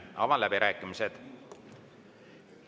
Avan läbirääkimised.